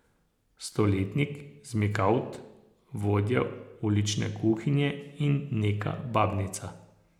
Stoletnik, zmikavt, vodja ulične kuhinje in neka babnica.